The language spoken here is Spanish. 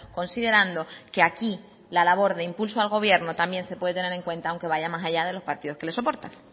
considerando que aquí la labor de impulso al gobierno también se puede tener en cuenta aunque van más allá de los partidos que le soportan